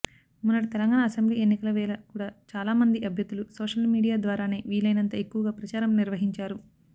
మొన్నటి తెలంగాణ అసెంబ్లీ ఎన్నికల వేళ కూడా చాలామంది అభ్యర్థులు సోషల్ మీడియా ద్వారానే వీలైనంత ఎక్కువగా ప్రచారం నిర్వహించారు